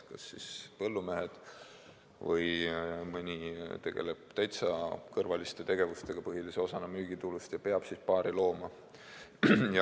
Kas seda teeb mõni põllumees või keegi teine täiesti kõrvalise tegevusena, saades põhilise osa müügitulust hoopis muust ja pidades paari looma.